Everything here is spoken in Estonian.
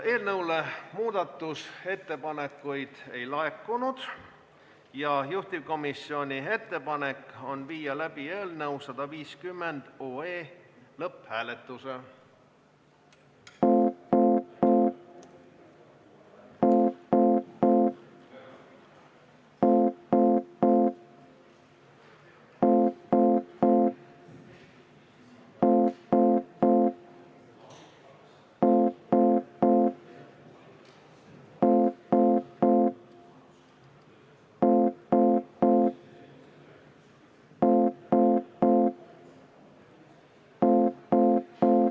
Eelnõu kohta muudatusettepanekuid ei laekunud ja juhtivkomisjoni ettepanek on viia läbi 150 OE lõpphääletus.